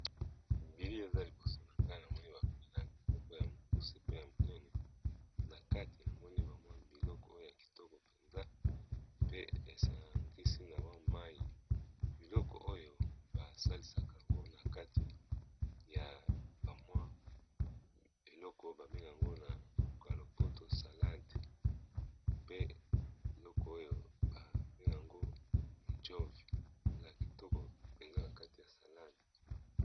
Bilili oyo eza liboso na nga namoni ba milangi ya mokuse pe ya monene na kati namoni ba mwa biloko oyo ya kitoko mpenza ,pe esangisi na mwa mayi, biloko oyo basalisaka yango na kati ya ba mwa eloko ba benga yango na monoko ya lopoto salade , pe biloko oyo ba bengaka jove esalaka kitoko mpenza na kati ya salade.